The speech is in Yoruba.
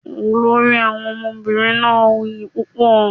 Olori Awọn omobinrin naa wuyi pupo